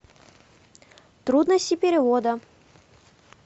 трудности перевода